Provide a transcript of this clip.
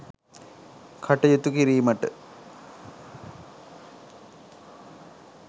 කටයුතු කිරීමට